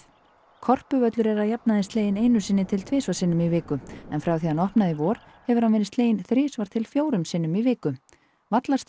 korpuvöllur er að jafnaði sleginn einu sinni til tvisvar sinnum í viku en frá því að hann opnaði í vor hefur hann verið sleginn þrisvar til fjórum sinnum í viku